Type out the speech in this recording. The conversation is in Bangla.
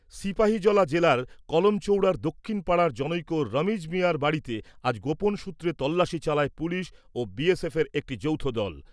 সিপাহীজলা জেলার কলম চৌড়ার দক্ষিণ পাড়ার জনৈক রমিজ মিঞার বাড়িতে আজ গোপন সূত্রে তল্লাসী চালায় পুলিশ ও বিএসএফের একটি যৌথ দল।